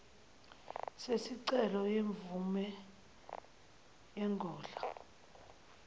sesicelo semvume yengodla